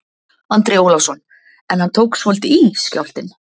Andri Ólafsson: En hann tók svolítið í, skjálftinn?